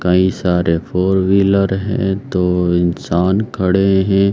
कई सारे four wheeler हैं। दो इंसान खड़े हैं।